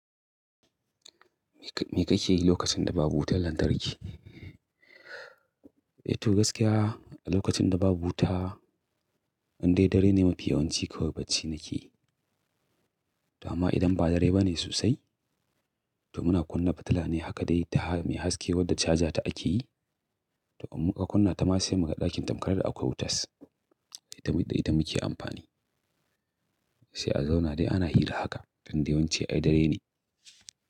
Me kake yi lokacin da babu wutar lantarki? Eh to gaskiya a lokacin da babu wuta, in dai dare ne mafi yawanci kawai bacci nake yi. To amma idan ba dare ba ne sosai, to muna kunna fitila ne haka dai ta me haske wadda caja ta akeyi. To kuma ka kunna ta ma sai muga ɗakin tamkar da akwai wutas. Eh tamid da ita muke amfani. Sai a zauna dai ana hira haka don yawanci ai dare ne.